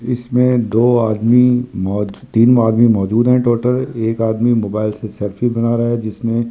इसमें दो आदमी मौजू तीन आदमी मौजूद है टोटल एक आदमी मोबाइल से सेल्फी बना रहा है जिसमें।